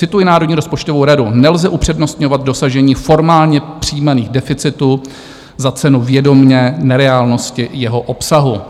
Cituji Národní rozpočtovou radu: "Nelze upřednostňovat dosažení formálně přijímaných deficitů za cenu vědomě nereálnosti jeho obsahu."